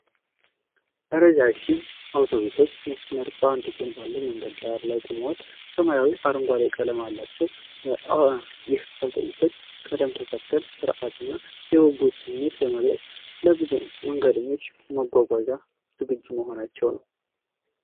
ረዣዥም የአውቶቡሶች መስመር በአንድ ጎን ባለው መንገድ ላይ ቆሟል፤ ሰማያዊና አረንጓዴ ቀለም አላቸው። ይህ የአውቶቡሶች ቅደም ተከተል የሥርዓትንና የጉጉትን ስሜት በመግለጽ ለብዙ መንገደኞች መጓጓዣ ዝግጁ መሆናቸውን ነው።